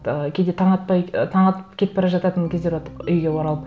ы кейде таң атпай ы таң атып кетіп бара жататын кездер болды үйге оралып